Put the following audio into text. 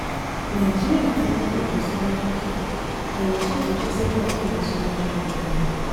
nàìjíríà ti ní ìlọsíwájú díẹ̀ ààyè sì tún sí sílẹ̀ fún ìlọsíwájú ọrọ̀.